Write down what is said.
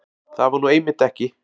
Það var nú einmitt ekki